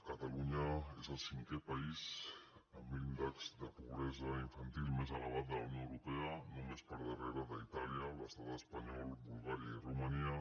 catalunya és el cinquè país amb índex de pobresa infantil més elevat de la unió europea només per darrere d’itàlia l’estat espanyol bulgària i romania